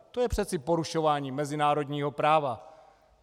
To je přeci porušování mezinárodního práva.